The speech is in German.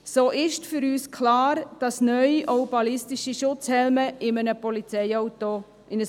So ist für uns klar, dass neu auch ballistische Schutzhelme in ein Polizeiauto gehören.